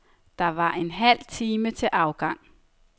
Der var en halv time til afgang.